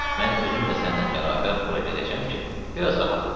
Mən özüm də səninlə bərabər ora gedəcəm ki, biraz rahat olaq.